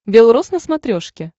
бел рос на смотрешке